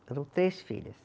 Eram três filhas.